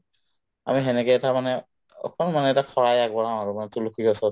আমি সেনেকে এটা মানে অকল মানে এটা শৰাই আগবঢ়াও আৰু মানে তুলসী গছত